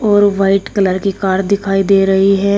और white colour की car दिखाई दे रही है।